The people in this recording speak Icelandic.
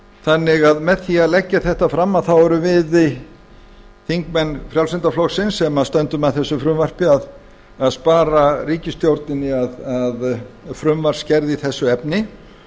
þannig að með því að leggja þetta fram þá erum við þingmenn frjálslynda flokksins sem stöndum að þessu frumvarpi að spara ríkisstjórninni frumvarpsgerð í þessu efni